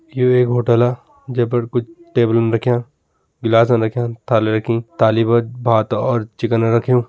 यु एक होटला जे पर कुछ टेबलन रख्यां गिलासन रख्यां थालि रखीं। थाली पर भात और चिकन रख्युं।